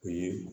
O ye